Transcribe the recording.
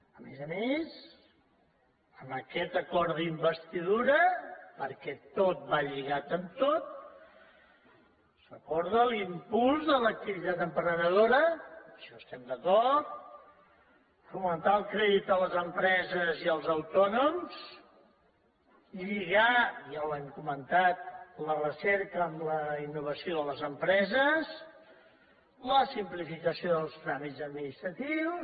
a més a més en aquest acord d’investidura perquè tot va lligat amb tot s’acorda l’impuls de l’activitat emprenedora en això estem d’acord fomentar el crèdit a les empreses i als autònoms lligar ja ho hem comentat la recerca amb la innovació de les empreses la simplificació dels tràmits administratius